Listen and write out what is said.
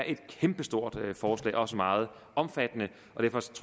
kæmpestore forslag også meget omfattende